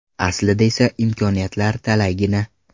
Aslida esa imkoniyatlar talaygina.